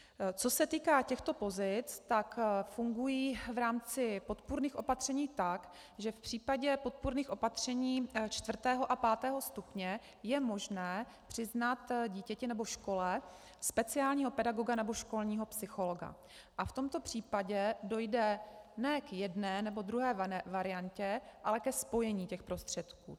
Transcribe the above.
Co se týká těchto pozic, tak fungují v rámci podpůrných opatření tak, že v případě podpůrných opatření 4. a 5. stupně je možné přiznat dítěti nebo škole speciálního pedagoga nebo školního psychologa a v tomto případě dojde ne k jedné nebo druhé variantě, ale ke spojení těch prostředků.